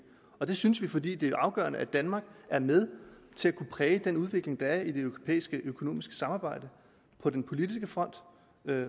og det synes vi fordi det er afgørende at danmark er med til at kunne præge en udvikling der er i det europæiske økonomiske samarbejde på den politiske front